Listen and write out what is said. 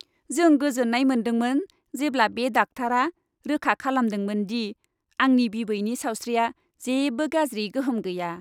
जों गोजोननाय मोनदोंमोन जेब्ला बे डाक्टारा रोखा खालामदोंमोन दि आंनि बिबैनि सावस्रियाव जेबो गाज्रि गोहोम गैया।